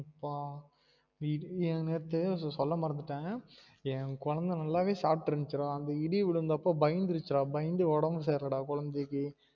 இப்ப இது இங்க இருந்து சொல்ல மறந்துட்டன் என் கொழந்த நல்லலாவே சாப்ட்டு இருந்துச்சு டா அந்த இடி உழுந்த அப்போ பயந்துரிச்சிடா பயன்து ஒடம்பு சரி இல்ல டா கொழந்தைக்கு